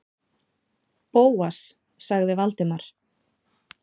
Bóas- sagði Valdimar.